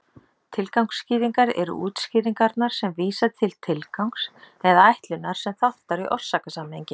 Tilgangsskýringar eru útskýringarnar sem vísa til tilgangs eða ætlunar sem þáttar í orsakasamhengi.